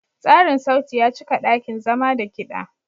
Tsarin sauti ya cika ɗakin zama da kiɗa.